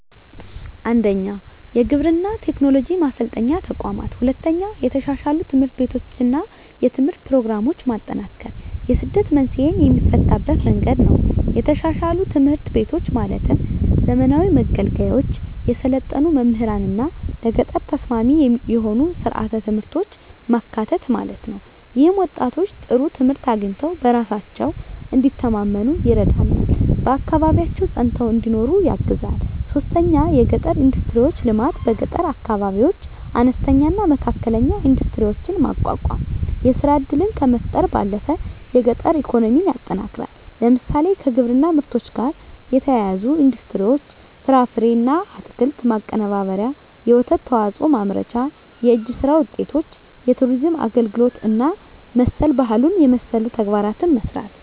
1. የግብርና ቴክኖሎጂ ማሰልጠኛ ተቋማት 2. የተሻሻሉ ትምህርት ቤቶችና የትምህርት ፕሮግራሞች ማጠናከር የስደት መንስኤን የሚፈታበት መንገድ ነው የተሻሻሉ ትምህርት ቤቶች ማለትም ዘመናዊ መገልገያዎች፣ የሰለጠኑ መምህራንና ለገጠር ተስማሚ የሆኑ ሥርዓተ ትምህርቶች ማካተት ማለት ነው። ይህም ወጣቶች ጥሩ ትምህርት አግኝተው በራሳቸው እንዲተማመኑ ይረዳልና በአካባቢያቸው ፀንተው እንዲኖሩ ያግዛል 3. የገጠር ኢንዱስትሪዎች ልማት በገጠር አካባቢዎች አነስተኛና መካከለኛ ኢንዱስትሪዎችን ማቋቋም የሥራ ዕድልን ከመፍጠር ባለፈ የገጠር ኢኮኖሚን ያጠናክራል። ለምሳሌ፣ ከግብርና ምርቶች ጋር የተያያዙ ኢንዱስትሪዎች (ፍራፍሬና አትክልት ማቀነባበሪያ፣ የወተት ተዋጽኦ ማምረቻ)፣ የእጅ ሥራ ውጤቶች፣ የቱሪዝም አገልግሎት እና መሠል ባህሉን የመሠሉ ተግባራትን መሥራት